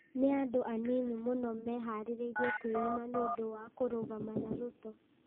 Nĩ andũ anini mũno meharĩirie kwĩima nĩ ũndũ wa kũrũgama na Ruto,